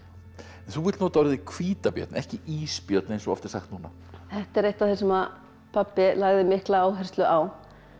en þú vilt nota orðið hvítabjörn ekki ísbjörn eins og oft er sagt núna þetta er eitt af því sem að pabbi lagði mikla áherslu á